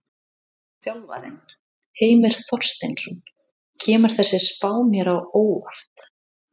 Þjálfarinn: Heimir Þorsteinsson: Kemur þessi spá mér á óvart?